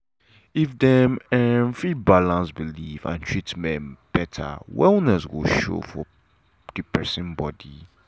if dem um fit balance belief and treatment better wellness go show for the persin body.